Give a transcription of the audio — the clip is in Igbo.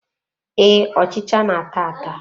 Ee, ọchịcha na-ata ata.